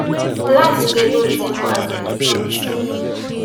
life today no resemble as dem bin promise am